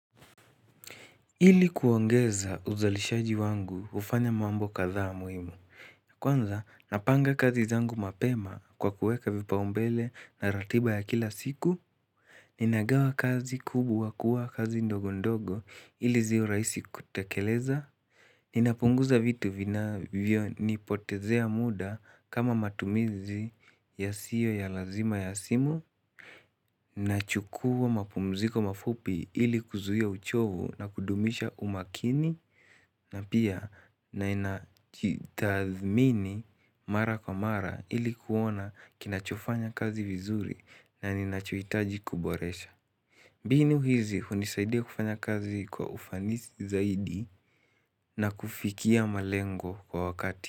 Ili kuongeza uzalishaji wangu hufanya mambo kadhaa muhimu. Kwanza napanga kazi zangu mapema kwa kueka vipaumbele na ratiba ya kila siku. Ninagawa kazi kubwa kuwa kazi ndogo ndogo ili ziwe raisi kutekeleza. Ninapunguza vitu vinavyonipotezea muda kama matumizi yasiyo ya lazima ya simu. Nachukua mapumziko mafupi ili kuzuia uchovu na kudumisha umakini na pia na inajitathmini mara kwa mara ili kuona kinachofanya kazi vizuri na ninachoitaji kuboresha mbinu hizi hunisaidia kufanya kazi kwa ufanisi zaidi na kufikia malengo kwa wakati.